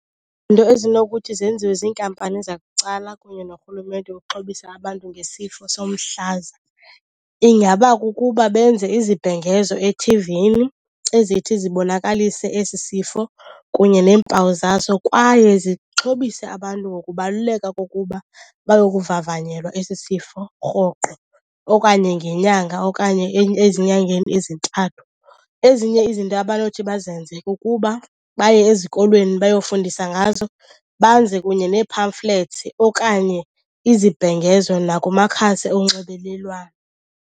ezinokuthi zenziwe ziinkampani zabucala kunye norhulumente ukuxhobisa abantu ngesifo somhlaza ingaba kukuba benze izibhengezo ethivini ezithi zibonakalise esi sifo kunye neempawu zaso. Kwaye zixhobise abantu ngokubaluleka kokuba bayokuvavanyelwa esi sifo rhoqo, okanye ngenyanga, okanye ezinyangeni ezintathu. Ezinye izinto abanothi bazenze kukuba baye ezikolweni bayofundisa ngazo banze kunye nee-pamphlets okanye izibhengezo nakumakhasi onxibelelwano.